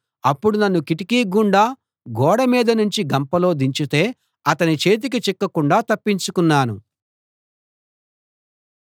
అప్పుడు నన్ను కిటికీ గుండా గోడ మీద నుంచి గంపలో దించితే అతని చేతికి చిక్కకుండా తప్పించుకున్నాను